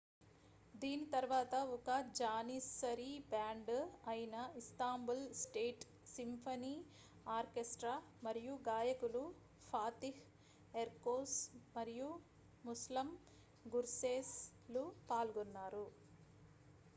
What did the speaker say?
దీని తరువాత ఒక జానిస్సరీ బ్యాండ్ అయిన ఇస్తాంబుల్ స్టేట్ సింఫనీ ఆర్కెస్ట్రా మరియు గాయకులు ఫాతిహ్ ఎర్కోస్ మరియు ముస్లమ్ గుర్సేస్ లు పాల్గొన్నారు